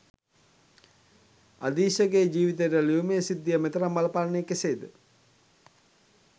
අදීශගේ ජීවිතයට ලියුමේ සිද්ධිය මෙතරම් බලපාන්නේ කෙසේද